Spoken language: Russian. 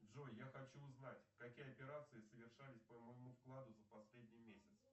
джой я хочу узнать какие операции совершались по моему вкладу за последний месяц